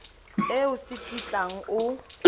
e o se kitlang o